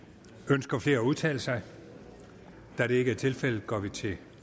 ønsker flere at udtale sig da det ikke er tilfældet går vi til